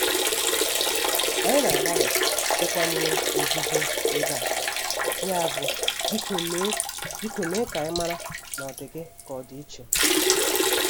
Anyị na-agbalị ịkwanyere nzuzo ebe a, yabụ biko mee biko mee ka anyị mara ma ọ dị gị ka ọ dị iche.